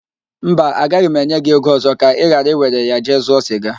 Mba, agaghị m enye gị ego ọzọ ka ị ghara iwere ya jee zụọ siga